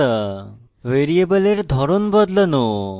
ভ্যারিয়েবলের ধরন বদলানো